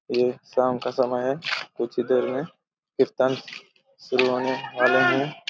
ये शाम का समय हैं कुछ देर में सिल्वन --